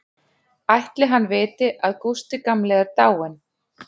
Ætli hann viti að Gústi gamli er dáinn?